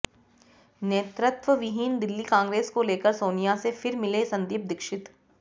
नेतृत्वविहीन दिल्ली कांग्रेस को लेकर साेनिया से फिर मिले संदीप दीक्षित